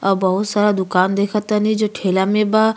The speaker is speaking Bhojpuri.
आ बहुत सारा दुकान देख तानी जे ठेला में बा।